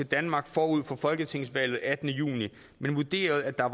danmark forud for folketingsvalget den attende juni men vurderede at der